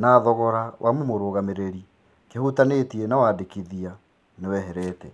na thogora wa mũmũragamĩrĩri kĩhutanĩtie na wandĩkithia nĩweherete.